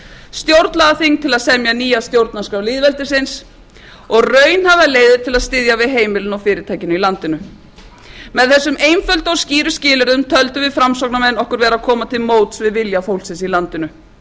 stjórnlagaþing til að semja nýja stjórnarskrá lýðveldisins og raunhæfar leiðir til að styðja við heimilin og fyrirtækin í landinu með þessum einföldu og skýru skilyrðum töldum við framsóknarmenn okkur vera að koma til móts við vilja fólksins í landinu